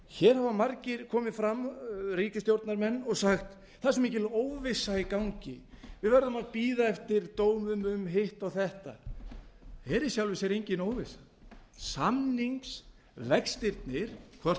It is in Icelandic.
hér hafa margir komið fram ríkisstjórnarmenn og sagt það er svo mikil óvissa í gangi við erum að bíða eftir dómum og hitt og þetta það er í sjálfu sér engin óvissa samningsvextirnir hvort sem þeir